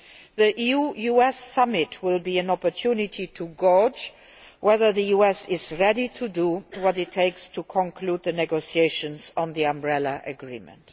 The EU US Summit will be an opportunity to gauge whether the US is ready to do what it takes to conclude the negotiations on the Umbrella Agreement.